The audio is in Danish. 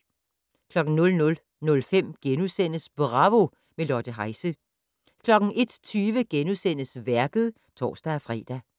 00:05: Bravo - med Lotte Heise * 01:20: Værket *(tor-fre)